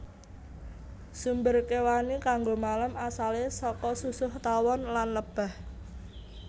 Sumber kéwani kanggo malam asalé saka susuh tawon lan lebah